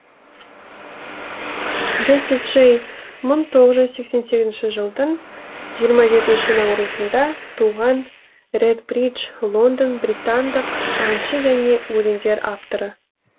джесси джей мың тоғыз жүз сексен сегізінші жылдың жиырма жетінші наурызында туған редбридж лондон британдық әнші және өлеңдер авторы